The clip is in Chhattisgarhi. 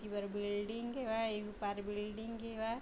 एती बर बिल्डिंग हेवय एम्पायर_बिल्डिंग हेवय।